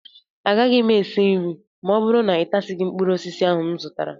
Agaghị m esi nri ma ọ bụrụ na ịtasịghị mkpụrụ osisi ahụ m zụtara